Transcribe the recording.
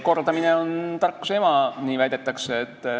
Kordamine on tarkuse ema, nii väidetakse.